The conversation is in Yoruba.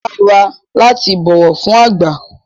Ó dára láti bọ̀wọ̀ fún àgbà